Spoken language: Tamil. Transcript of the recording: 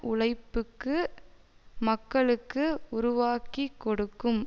உழைபூக்கு மக்களுக்கு உருவாக்கிக்கொடுக்கும்